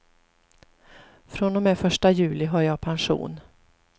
Från och med första juli har jag pension.